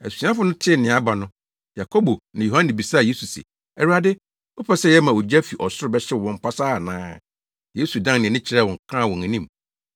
Asuafo no tee nea aba no, Yakobo ne Yohane bisaa Yesu se, “Awurade, wopɛ sɛ yɛma ogya fi ɔsoro bɛhyew wɔn pasaa ana?”